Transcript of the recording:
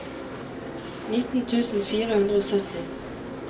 nitten tusen fire hundre og sytti